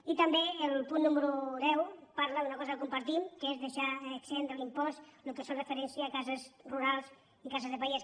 i també el punt número deu parla d’una cosa que com·partim que és deixar exempt de l’impost el que fa re·ferència a cases rurals i cases de pagès